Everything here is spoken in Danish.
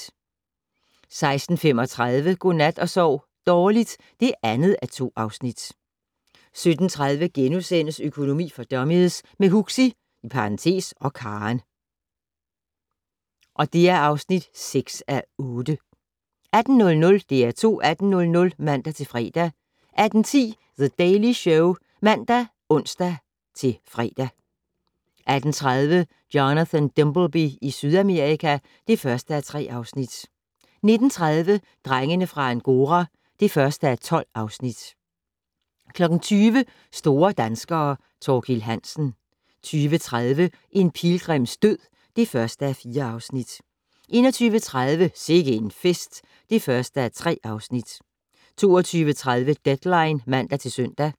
16:35: Godnat og sov dårligt (2:2) 17:30: Økonomi for dummies - med Huxi (og Karen) (6:8)* 18:00: DR2 18:00 (man-fre) 18:10: The Daily Show (man og ons-fre) 18:30: Jonathan Dimbleby i Sydamerika (1:3) 19:30: Drengene fra Angora (1:12) 20:00: Store danskere - Thorkild Hansen 20:30: En pilgrims død (1:4) 21:30: Sikke en fest (1:3) 22:30: Deadline (man-søn)